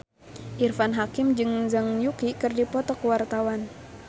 Irfan Hakim jeung Zhang Yuqi keur dipoto ku wartawan